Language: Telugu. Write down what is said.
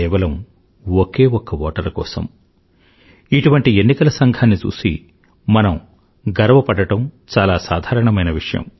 కేవలం ఒకే ఒక్క ఓటరు కోసం ఇటువంటి ఎన్నికల సంఘాన్ని చూసి మనం గర్వపడడం చాలా సాధారణమైన విషయం